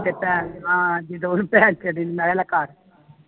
ਤੇ ਆਹ ਜਦੋ ਉਹਨੂੰ ਕੇ ਦੇਣੀ ਨਾਲੇ ਲੂਕਾ ਕੇ